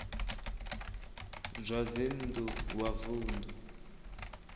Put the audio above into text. zwa dzinn ḓu wa vunḓu